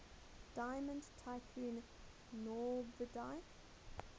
diamond tycoon nwabudike